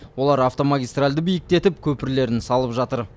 олар автомагистральді биіктетіп көпірлерін салып жатыр